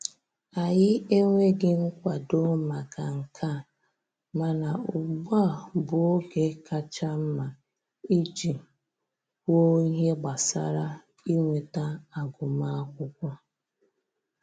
Anyị enweghị nkwado maka nke a, mana ugbu a bụ oge kacha mma iji kwuo ihe gbasara inweta agụmakwụkwọ